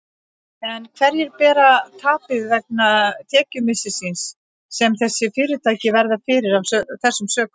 En hverjir bera tapið vegna tekjumissisins sem þessi fyrirtæki verða fyrir af þessum sökum?